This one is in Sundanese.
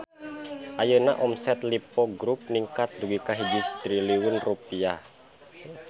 Ayeuna omset Lippo Grup ningkat dugi ka 1 triliun rupiah